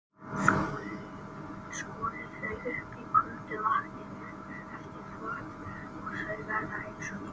Skolið þau upp úr köldu vatni eftir þvott og þau verða eins og ný.